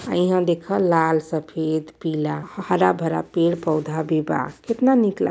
अ इहाँ देखअ लाल सफेद पीला हरा-भरा पेड़ पौधा भी बा कितना निक ला --